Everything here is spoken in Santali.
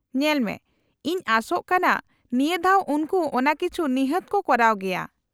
-ᱧᱮᱞᱢᱮ, ᱤᱧ ᱟᱥᱚᱜ ᱠᱟᱱᱟ ᱱᱤᱭᱟᱹ ᱫᱷᱟᱣ ᱩᱱᱠᱩ ᱚᱱᱟ ᱠᱤᱪᱷᱩ ᱱᱤᱦᱟᱹᱛ ᱠᱚ ᱠᱚᱨᱟᱣ ᱜᱮᱭᱟ ᱾